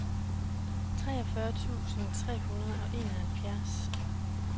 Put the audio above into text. treogfyrre tusind tre hundrede og enoghalvfjerds